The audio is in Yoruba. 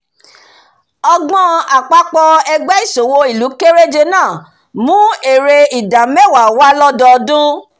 ọgbọ́n àpapọ̀ ẹgbé ìsòwọ̀ ìlú kéréje náà mú èrè ìdá mẹ̀wá wá lọ́dọdún